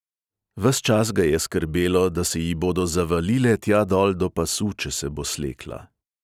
Ves čas ga je skrbelo, da se ji bodo zavalile tja dol do pasu, če se bo slekla.